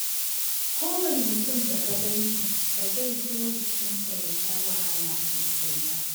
Kowane mutum da ka gan shi, ba zai so jikinsa ya sha wahala sosai ba.